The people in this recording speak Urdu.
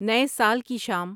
نئے سال کی شام